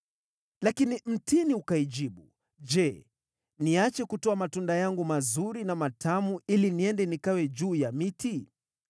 “Lakini mtini ukaijibu, ‘Je, niache kutoa matunda yangu mazuri na matamu, ili niende nikawe juu ya miti?’